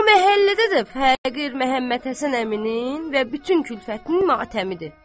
O məhəllədə də fağır Məhəmmədhəsən əminin və bütün külfətinin matəmidir.